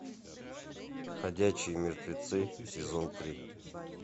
ходячие мертвецы сезон три